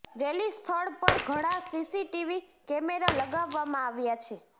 rally સ્થળ પર ઘણા સીસીટીવી કેમેરા લગાવવામાં આવ્યા છે